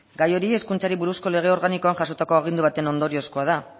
gai hori hezkuntzari buruzko lege organikoan jasotako agindu baten ondoriozkoa da